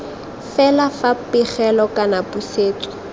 fela fa pegelo kana pusetso